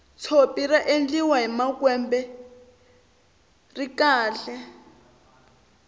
tshopi ra endliwa hi makwembe ri kahle